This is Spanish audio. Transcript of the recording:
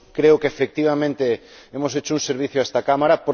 Creo que, efectivamente, hemos hecho un servicio a esta Cámara.